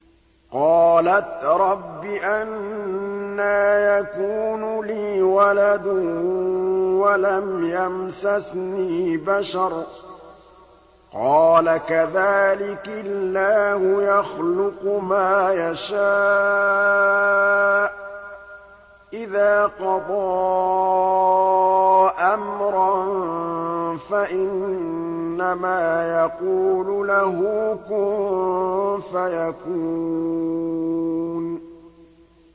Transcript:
قَالَتْ رَبِّ أَنَّىٰ يَكُونُ لِي وَلَدٌ وَلَمْ يَمْسَسْنِي بَشَرٌ ۖ قَالَ كَذَٰلِكِ اللَّهُ يَخْلُقُ مَا يَشَاءُ ۚ إِذَا قَضَىٰ أَمْرًا فَإِنَّمَا يَقُولُ لَهُ كُن فَيَكُونُ